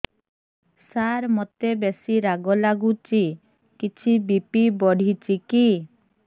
ସାର ମୋତେ ବେସି ରାଗ ଲାଗୁଚି କିଛି ବି.ପି ବଢ଼ିଚି କି